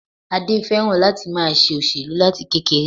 Adé féràn láti ma se òṣèlú láti kekere